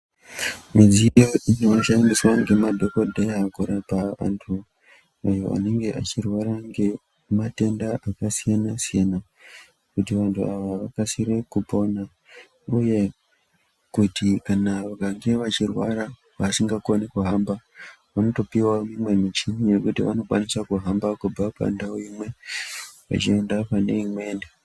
Midziyo inoshandiswa ngemadhokodheya kurapa antu anenge echirwara ngematenda akasiyana -siyana kuti vantu ava vakasire kupona uye kuti kana vakatouya vachirwara vasingakoni kuhamba vanotopiwa imwe michini yekuti vanokwanisa kuhamba kubva pandau imwe kuende pane imweni.